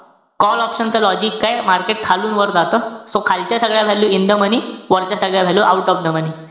Call option च logic काये? Market खालून वर जातं, so खालच्या सगळ्या value in the money. वरच्या सगळ्या value out of the money.